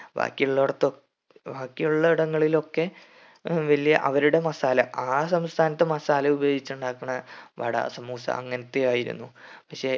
ബാക്കിയുള്ളവർത്തൊ ബാക്കിയുള്ളടങ്ങളിലൊക്കെ ഹും വലിയ അവരുടെ മസാല ആ സംസ്ഥാനത്തെ മസാല ഉപയോഗിച്ച് ഉണ്ടാക്കുണ വട samoosa അങ്ങനത്തെ ആയിരുന്നു പക്ഷെ